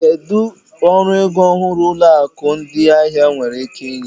Kedu ọrụ ego ọhụrụ ụlọ akụ ndị ahịa nwere ike inye?